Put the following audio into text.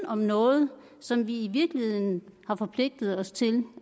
om noget som vi i virkeligheden har forpligtet os til